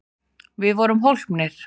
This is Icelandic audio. Við vorum hólpnir!